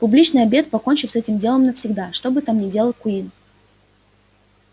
публичный обед покончит с этим делом навсегда что бы там ни делал куинн